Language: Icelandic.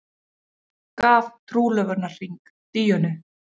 Gaf trúlofunarhring Díönu